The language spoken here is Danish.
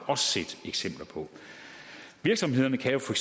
også set eksempler på virksomheden kan jo for